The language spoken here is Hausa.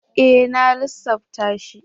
E! Na lissafta shi.